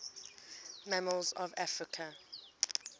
mammals of africa